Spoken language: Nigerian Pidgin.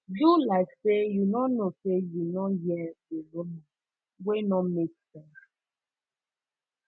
do like say you no know say you no hear di rumor wey no make sense